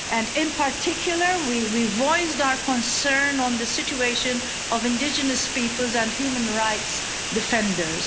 And in particular we voiced our concern on the situation of indigenous peoples and human rights defenders.